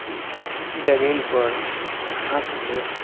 जमीन पर घासपुस--